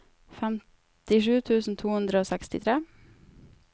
femtisju tusen to hundre og sekstitre